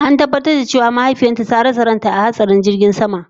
An tabatar da ita cewa mahaifiyarta ta rasa ranta a hatsarin jirgin sama